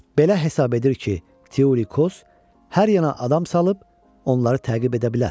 Belə hesab edir ki, Selevkos hər yana adam salıb onları təqib edə bilər.